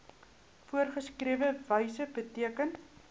voorgeskrewe wyse beteken